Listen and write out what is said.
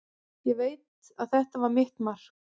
Ég veit að þetta var mitt mark.